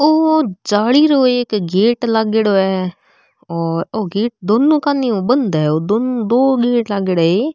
ओ जाली रो एक गेट लागेड़ो है और ओ गेट दोनों कानी ऊ बंद है दो गेट लागेड़ा है ये।